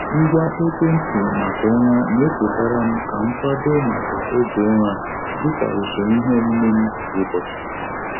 Ngwa ekwentị maka ụra na-echetara m ka m kwado maka oge ụra dịka usoro iheomume m kwa ụbọchị.